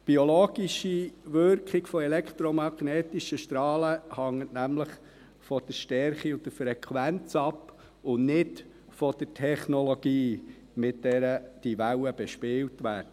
Die biologische Wirkung von elektromagnetischen Strahlen hängt nämlich von der Stärke und der Frequenz ab, und nicht von der Technologie, mit der die Wellen bespielt werden.